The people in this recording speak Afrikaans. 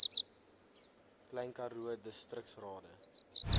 klein karoo distriksrade